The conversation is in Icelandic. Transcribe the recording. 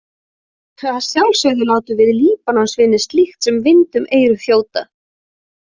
Að sjálfsögðu látum við Líbanonsvinir slíkt sem vind um eyru þjóta.